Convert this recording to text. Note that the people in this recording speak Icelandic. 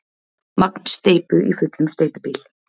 Magn steypu í fullum steypubíl.